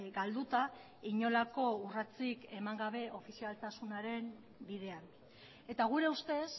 galduta inolako urratsik eman gabe ofizialtasunaren bidean eta gure ustez